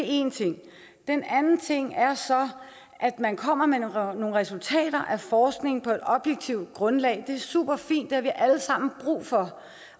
en ting den anden ting er så at man kommer med nogle resultater af forskning på et objektivt grundlag det er superfint det har vi alle sammen brug for